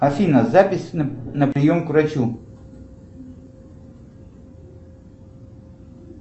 афина запись на прием к врачу